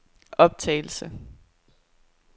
optagelse